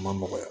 A ma nɔgɔya